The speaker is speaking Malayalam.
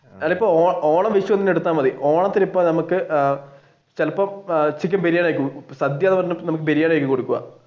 അല്ല ഇപ്പൊ ഓണത്തിന് ഇപ്പൊ നമുക്ക് ചിലപ്പോ ഉച്ചക്ക് ബിരിയാണി ആയിരിക്കും സദ്യ എന്ന് പറഞ്ഞു ബിരിയാണിയായിരിക്കും കൊടുക്കുക